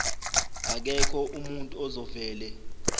akekho umuntu ozovele